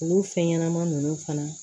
Olu fɛn ɲɛnɛma nunnu fana